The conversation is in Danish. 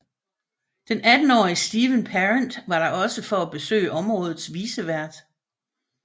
Den attenårige Steven Parent var der også for at besøge områdets vicevært